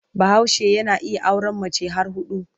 Bahaushe yana iya auren mace har huɗu.